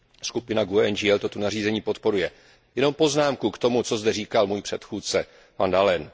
Skupina GUE NGL toto nařízení podporuje. Jenom poznámku k tomu, co zde říkal můj předchůdce, van Dalen.